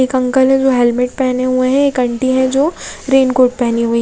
एक अंकल हैं जो हेलमेट पहने हुए हैं एक आंटी हैं जो रेनकोट पहनी हुई।